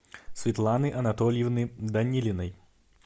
светланы анатольевны данилиной